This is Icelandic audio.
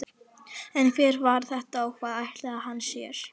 En hver var þetta og hvað ætlaði hann sér?